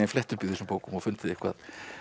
flett upp í þessum bókum og fundið eitthvað